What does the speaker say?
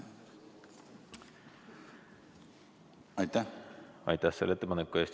Aitäh selle ettepaneku eest!